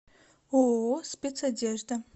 ооо спецодежда